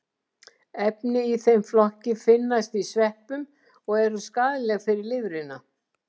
Efni í þeim flokki finnast í sveppum og eru skaðleg fyrir lifrina.